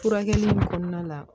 Furakɛli in kɔnɔna la